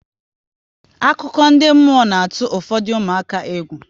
Akụkọ ndị mmụọ na atụ ụfọdụ ụmụaka egwu